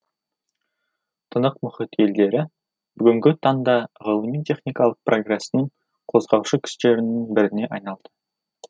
тынық мұхит елдері бүгінгі таңда ғылыми техникалық прогрестің қозғаушы күштерінің біріне айналды